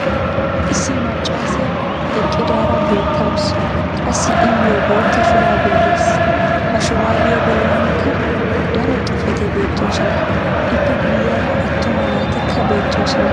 Issi macaassiya eqidaara beetawusu. Qassi iyoo bootta shuraabee des. Ha shuraabbiya bolankka daro xuufetti beetoosona. lppe guyeera attuma naatikka beettosona.